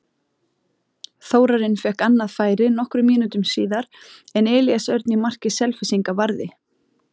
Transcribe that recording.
Þórarinn fékk annað færi nokkrum mínútum síðar en Elías Örn í marki Selfyssinga varði.